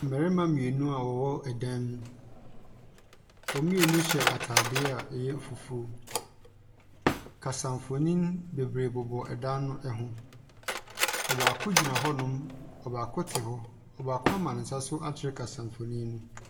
Mmarima mmienu a wɔwɔ dan mu. Wɔn mmieni hyɛ atadeɛ a ɛyɛ fufuo. Kasamfonin bebree bobɔ dan no ho. Ɔbaako gyina hɔnom, ɔbaaako te hɔ. Ɔbaako ama ne nsa so akyerɛ kasamfonin no.